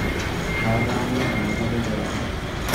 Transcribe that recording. ataanyua ometabai kiwarie